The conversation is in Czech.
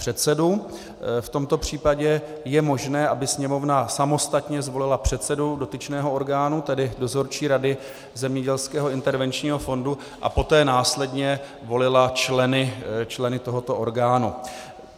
V tomto případě je možné, aby Sněmovna samostatně zvolila předsedu dotyčného orgánu, tedy Dozorčí rady Zemědělského intervenčního fondu, a poté následně volila členy tohoto orgánu.